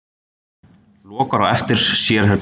Lokar á eftir sér herberginu.